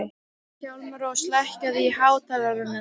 Hjálmrós, lækkaðu í hátalaranum.